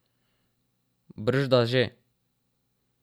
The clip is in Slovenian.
Bržda že.